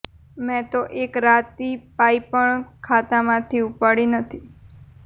મેં તો એક રાતી પાઇ પણ ખાતામાંથી ઉપાડી નથી